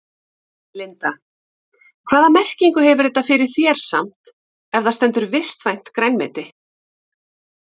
Linda: Hvaða merkingu hefur þetta fyrir þér samt ef það stendur vistvænt grænmeti?